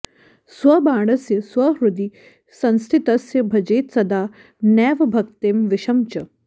स्वबाणस्य स्वहृदि संस्थितस्य भजेत्सदा नैव भक्तिं विषं च